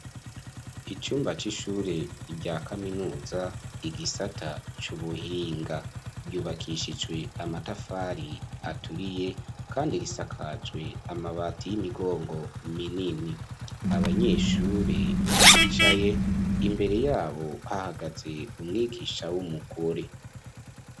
Icumba c'ishure rya kaminuza igisata cubuhinga yubakishijwe amatafari aturiye kandi risakajwe amabati y'imigongo minini. Abanyeshure bicaye imbere yabo hahagaze umwigisha w'umugore.